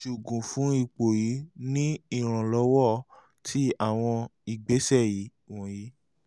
iṣoogun fun ipo yii ni iranlọwọ ti awọn igbesẹ wọnyi